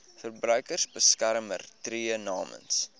verbruikersbeskermer tree namens